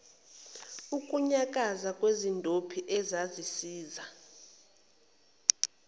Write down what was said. ukunyakaza kwezindophi ezisiza